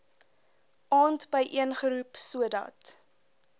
aand byeengeroep sodat